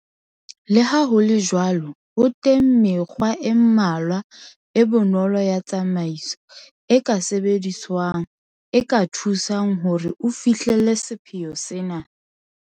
Le ha ho le jwalo, ho teng mekgwa e mmalwa, e bonolo ya tsamaiso, e ka e sebediswang, e ka thusang hore o fihlelle sepheo sena.